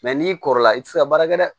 Mɛ n'i kɔrɔla i tɛ se ka baara kɛ dɛ